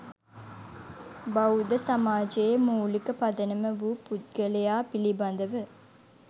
බෞද්ධ සමාජයේ මූලික පදනම වූ පුද්ගලයා පිළිබඳව